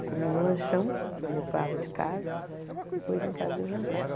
Eu comia um lanchão, que eu levava de casa, depois em casa eu jantava.